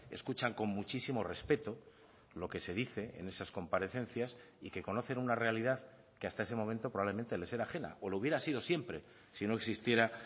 escuchan con muchísimo respeto lo que se dice en esas comparecencias y que conocen una realidad que hasta ese momento probablemente les era ajena o lo hubiera sido siempre si no existiera